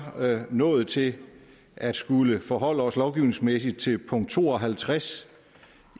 nået til at skulle forholde os lovgivningsmæssigt til punkt to og halvtreds